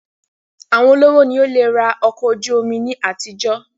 Àwọn olówó ni ó le rà ọkọ̀ ojú omi ní àtijọ́